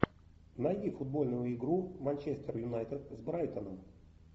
найди футбольную игру манчестер юнайтед с брайтоном